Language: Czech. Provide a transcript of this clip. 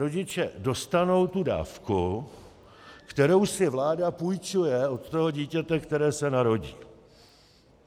Rodiče dostanou tu dávku, kterou si vláda půjčuje od toho dítěte, které se narodí.